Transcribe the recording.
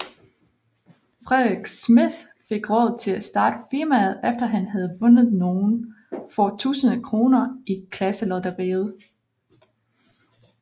Frederik Smidth fik råd til at starte firmaet efter han havde vundet nogle få tusinde kroner i klasselotteriet